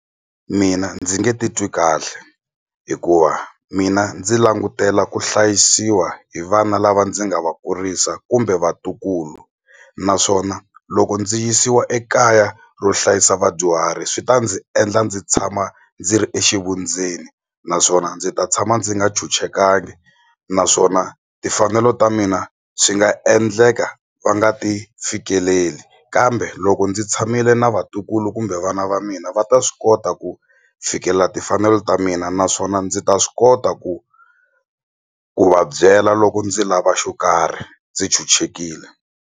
Mina ndzi nge titwi kahle hikuva mina ndzi langutela ku hlayisiwa hi vana lava ndzi nga va kurisa kumbe vatukulu naswona loko ndzi yisiwa ekaya ro hlayisa vadyuhari swi ta ndzi endla ndzi tshama ndzi ri exivundzeni naswona ndzi ta tshama ndzi nga tshunxekangi naswona timfanelo ta mina swi nga endleka va nga ti fikeleli kambe loko ndzi tshamile na vatukulu kumbe me vana va mina va ta swi kota ku fikelela timfanelo ta mina naswona ndzi ta swi kota ku ku va byela loko ndzi lava xo karhi ndzi chuchekile.